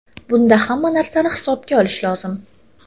Bunda hamma narsani hisobga olish lozim.